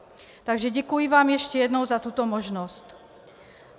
Takže děkuji vám ještě jednou za tuto možnost.